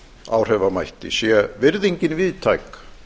áhrifamætti sé virðingin víðtæk